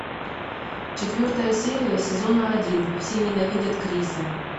четвертая серия сезона один все ненавидят криса